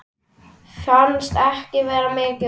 Fannst ekki vera mikið úrval.